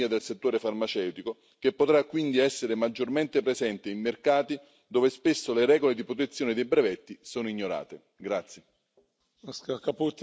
A trarne beneficio l'intera economia del settore farmaceutico, che potrà quindi essere maggiormente presente in mercati dove spesso le regole di protezione dei brevetti sono ignorate.